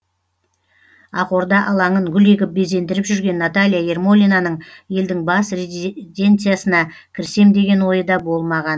ақорда алаңын гүл егіп безендіріп жүрген наталья ермолинаның елдің бас резиденциясына кірсем деген ойы да болмаған